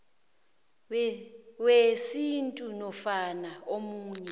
wesintu nofana omunye